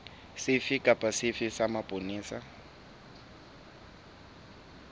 sefe kapa sefe sa mapolesa